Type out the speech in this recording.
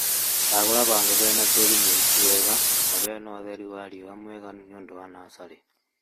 Shagũla handũ hena tĩri mũriku wega na hena ũtheri wa riũa mũiganu nĩundũ wa natharĩ